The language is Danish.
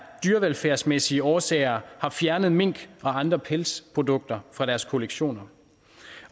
dyrevelfærdsmæssige årsager har fjernet mink og andre pelsprodukter fra deres kollektioner